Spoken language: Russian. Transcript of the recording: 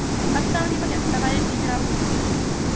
отца у него нет товарищ генерал